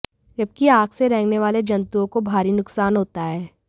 जबकि आग से रेंगने वाले जतुंओं को भारी नुकसान होता है